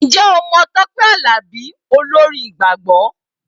Ǹjẹ́ o mọ Tọpẹ Alabi olórin ìgbàgbọ?